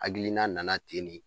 Hakilina nana ten de